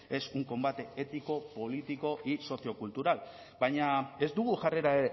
es un combate ético político y sociocultural baina ez dugu jarrera